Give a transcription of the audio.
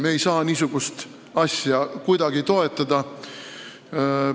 Me ei saa niisugust asja kuidagi toetada.